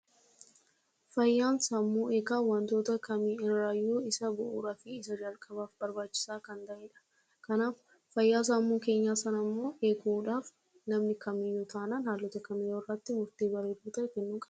Fayyaan sammuu isa baay'ee barbaachisaa fi wanta hunda dursudha. Kanaafuu fayyaa sammuu keenyaa eeguuf wantoota barbaachisoo ta'an gochuu qabna.